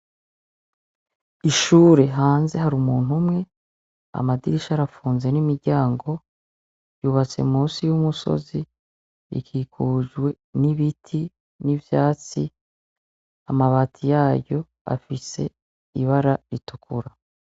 Ishure hanze hari umuntu umwe amadirisha arapfunze n'imiryango yubatse munsi y'umusozi ikukijwe n'ibiti n'ivyatsi amabati yaryo afise ibara ritukura.